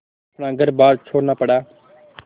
अपना घरबार छोड़ना पड़ा